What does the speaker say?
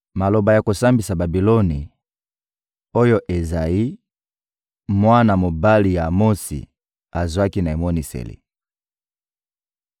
Maloba ya kosambisa Babiloni, oyo Ezayi, mwana mobali ya Amotsi, azwaki na emoniseli: